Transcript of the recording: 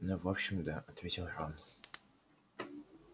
ну в общем да ответил рон